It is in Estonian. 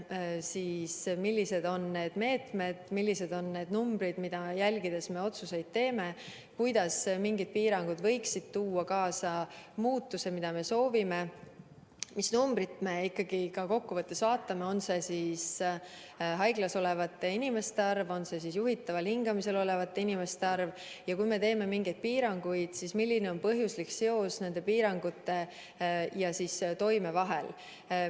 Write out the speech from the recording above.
Me mõtleme, millised on meetmed, millised on numbrid, mida jälgides me otsuseid teeme, kuidas mingid piirangud võiksid tuua kaasa muutuse, mida me soovime, mis numbrit me ikkagi kokkuvõttes vaatame – on see haiglas olevate inimeste arv, on see juhitaval hingamisel olevate inimeste arv, ja kui me teeme mingeid piiranguid, siis milline on põhjuslik seos piirangute ja nende toime vahel.